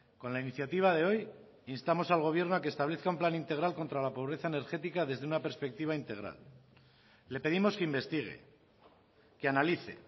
con la iniciativa de hoy instamos al gobierno a que establezca un plan integral contra la pobreza energética desde una perspectiva integral le pedimos que investigue que analice